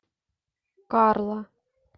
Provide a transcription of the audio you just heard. карла